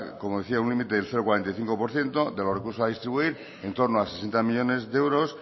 como decía un límite del cero coma cuarenta y cinco por ciento de los recursos a distribuir en torno a sesenta millónes de euros